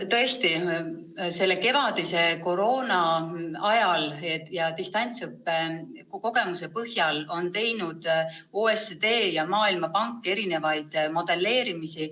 " Eelmise aasta kevadise koroonaaja ja distantsõppe kogemuste põhjal on OECD ja Maailmapank teinud erinevaid modelleerimisi.